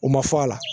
U ma fɔ a la